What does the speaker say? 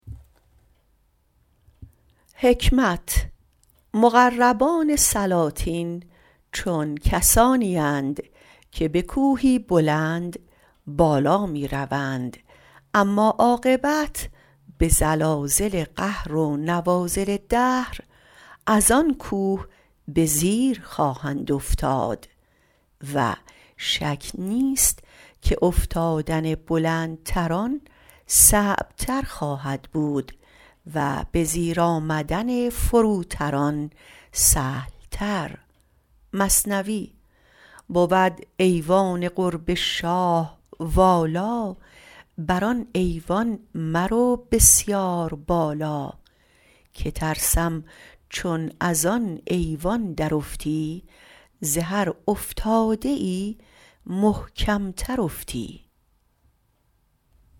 مقربان سلاطین چون گروهی اند که به کوه بلند بالا می روند اما عاقبت به زلازل قهر و نوازل دهر از آن کوه به زیر خواهند افتاد شک نیست که افتادن بلندتران سخت تر خواهد بود به زیر آمدن فروتران سهل تر بود ایوان قرب شاه والا به آن ایوان مرو بسیار بالا که ترسم چون ازان ایوان درافتی ز هر افتاده ای محکمتر افتی